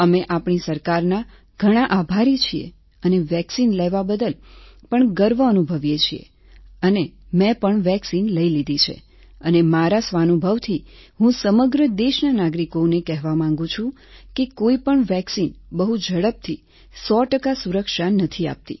અમે આપણી સરકારના ઘણાં આભારી છીએ અને વેક્સિન લેવા બદલ પણ ગર્વ અનુભવીએ છીએ અને મેં પણ વેક્સિન લઈ લીધી છે અને મારા સ્વાનુભવથી હું સમગ્ર દેશના નાગરિકોને કહેવા માંગુ છું કે કોઈપણ વેક્સિન બહુ ઝડપથી 100 ટકા સુરક્ષા નથી આપતી